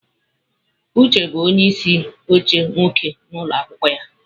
Uche bụ onye isi oche nwoke na ụlọ akwụkwọ ya.